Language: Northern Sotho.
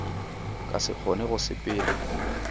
ka se kgone go sepela